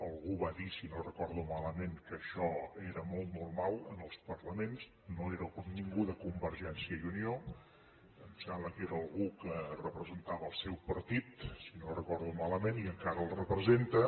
algú va dir si no ho recordo malament que això era molt normal en els parlaments no era ningú de convergència i unió em sembla que era algú que representava el seu partit si no ho recordo malament i encara el representa